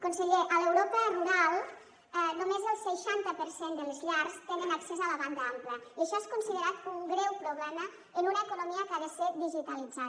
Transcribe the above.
conseller a l’europa rural només el seixanta per cent de les llars tenen accés a la banda ampla i això és considerat un greu problema en una economia que ha de ser digitalitzada